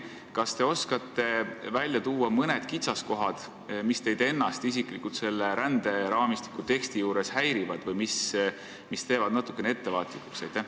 Kas te oskate välja tuua mõned kitsaskohad, mis teid isiklikult selle ränderaamistiku tekstis häirivad või mis teevad natukene ettevaatlikuks?